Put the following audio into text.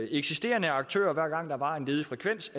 eksisterende aktører hver gang der var en ledig frekvens